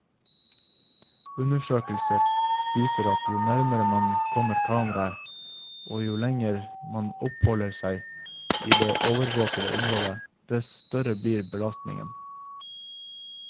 Undersøkelser viser at jo nærmere man kommer kameraet, og jo lenger man oppholder seg i det overvåkede området, dess større blir belastningen.